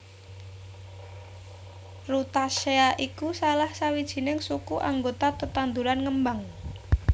Rutaceae iku salah sawijining suku anggota tetanduran ngembang